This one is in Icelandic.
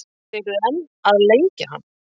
Og þið eruð enn að lengja hann?